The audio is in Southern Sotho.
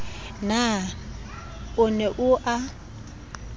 na o ne o a